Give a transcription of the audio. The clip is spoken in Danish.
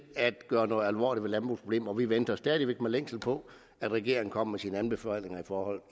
at gøre noget alvorligt ved landbrugets problemer og vi venter stadig væk med længsel på at regeringen kommer med sine anbefalinger